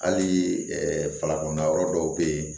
Hali falakɔna yɔrɔ dɔw bɛ yen